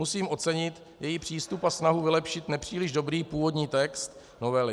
Musím ocenit její přístup a snahu vylepšit nepříliš dobrý původní text novely.